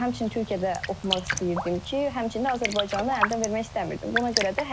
Həmçinin Türkiyədə oxumaq istəyirdim ki, həmçinin də Azərbaycanı əldən vermək istəmirdim.